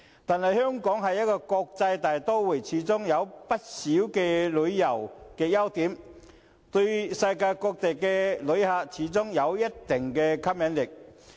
但是，香港是國際大都會，有不少旅遊優點，對世界各地的旅客始終有一定的吸引力。